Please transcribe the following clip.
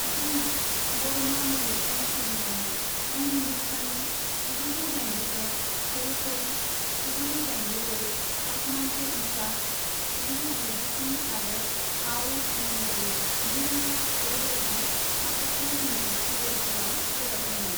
बिथाङा बरमा मलिकजों सुजुजानाय 'हम हिंदुस्तानी' जिगुजौ दाइनजिद', 'खरी खरी' जिगुजौ दाइनजिब्रै, 'आसमान से ऊंचा' जिगुजौ गुजिस्नि आरो 'आओ झूम गाए' नैरोजा से बायदि माखासे हिन्दी सिरियालफोराव रोजाबदोंमोन।